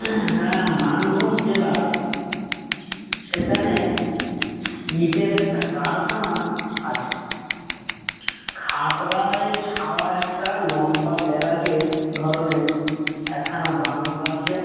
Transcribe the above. হ্যাঁ মানভূম জেলায়, সেখানে ইটের একটা কারখানা আচে। খাপরায় ছাওয়ায় একটা লম্বা বেড়াগেট ধরনের একখানা বাংলো আচে।